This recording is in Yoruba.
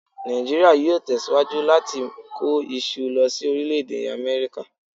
Nàìjíríà yóò tẹ̀síwájú láti kó iṣu lọ sí Orílẹ̀-Èdè Amẹ́ríkà